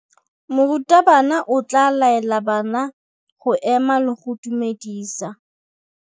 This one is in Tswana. Morutabana o tla laela bana go ema le go go dumedisa.